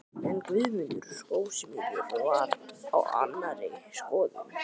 En Guðmundur skósmiður var á annarri skoðun.